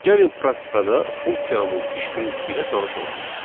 Gəlin praktikada funksiyanın iş prinsipi ilə tanış olaq.